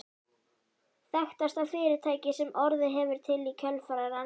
Þekktasta fyrirtækið sem orðið hefur til í kjölfar rannsókna